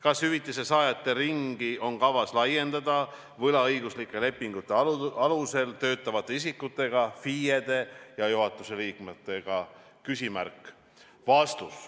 Kas hüvitise saajate ringi on kavas laiendada võlaõiguslike lepingute alusel töötavate isikutega, FIE-de ja juhatuse liikmetega?